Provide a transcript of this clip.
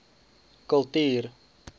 kultuur